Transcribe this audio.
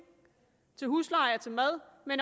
til husleje og til mad men